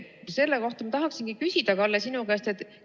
Selle kohta ma tahaksingi, Kalle, sinu käest küsida.